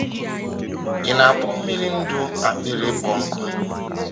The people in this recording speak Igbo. Ị̀ na-akpọ mmiri ndụ akpịrị ịkpọ nkụ?